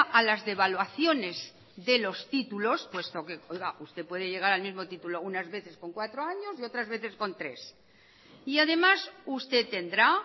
a las devaluaciones de los títulos puesto que oiga usted puede llegar al mismo título unas veces con cuatro años y otras veces con tres y además usted tendrá